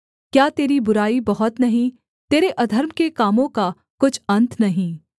क्या तेरी बुराई बहुत नहीं तेरे अधर्म के कामों का कुछ अन्त नहीं